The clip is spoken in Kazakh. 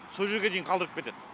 сол жерге дейін қалдырып кетеді